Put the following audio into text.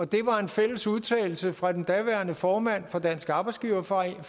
det var en fælles udtalelse fra den daværende formand for dansk arbejdsgiverforening